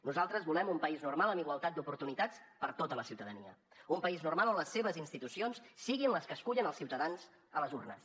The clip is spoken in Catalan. nosaltres volem un país normal amb igualtat d’oportunitats per a tota la ciutadania un país normal on les seves institucions siguin les que escullen els ciutadans a les urnes